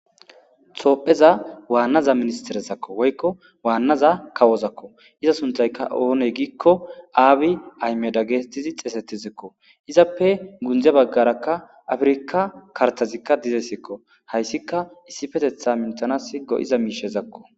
Topheza waannaza ministerezakko woykko waannaza kawozakko iza suntayka oone giikko aabi aymeda geestizi xeesetizekko. Izappe gunje baggaraka afirika kartazikka dizesekko hayssika issietetha mintanas go7iza miishezakko.